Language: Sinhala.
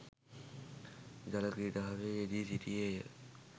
ජල ක්‍රීඩාවෙහි යෙදී සිටියේ ය.